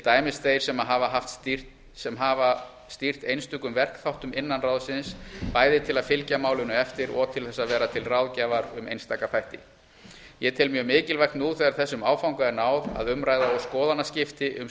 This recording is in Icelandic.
dæmis þeir sem hafa stýrt einstökum verkþáttum innan ráðsins bæði til að fylgja málinu eftir og til þess að vera til ráðgjafar um einstaka þætti ég tel mjög mikilvægt nú þegar þessum áfanga er náð að umræða og skoðanaskipti um